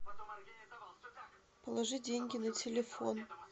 положи деньги на телефон